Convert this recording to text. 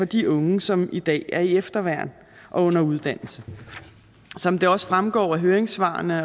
de unge som i dag er i efterværn og under uddannelse som det også fremgår af høringssvarene